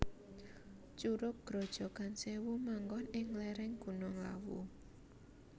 Curug Grojogan Sèwu manggon ing lèrèng Gunung Lawu